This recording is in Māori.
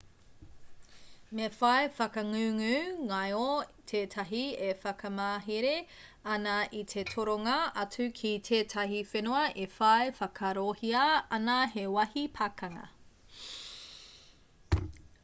me whai whakangungu ngaio tētahi e whakamahere ana i te toronga atu ki tētahi whenua e whai whakaarohia ana he wāhi pakanga